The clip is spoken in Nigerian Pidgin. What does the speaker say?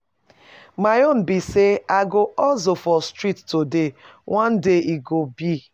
My own be say I go hustle for street today, one day e go be.